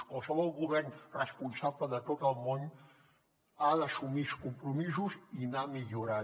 qualsevol govern responsable de tot el món ha d’assumir uns compromisos i anar millorant